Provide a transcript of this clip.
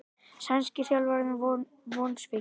Sænski þjálfarinn vonsvikinn